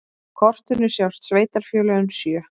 Á kortinu sjást sveitarfélögin sjö.